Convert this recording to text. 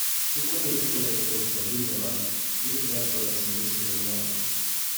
Duk wanda ya ci gaba da koyon sabbin dabaru zai fi dacewa da sauye-sauyen zamani.